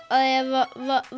að ef